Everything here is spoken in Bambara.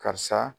Karisa